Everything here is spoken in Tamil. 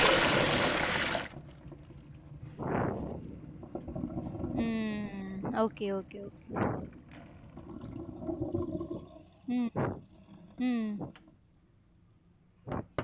உம் okay okay okay உம் உம்